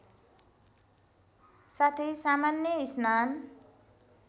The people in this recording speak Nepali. साथै सामान्य स्नान